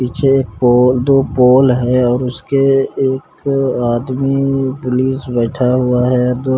पीछे पोल दो पोल है और उसके एक आदमी पुलिस बैठा हुआ है दो--